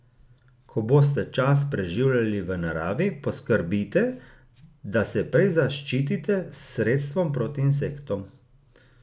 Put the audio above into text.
Ko boste čas preživljali v naravi, poskrbite, da se prej zaščitite s sredstvom proti insektom.